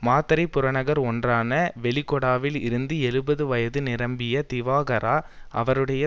மாத்தறை புறநகர் ஒன்றான வெலிகொடாவில் இருந்து எழுபது வயது நிரம்பிய திவாகரா அவருடைய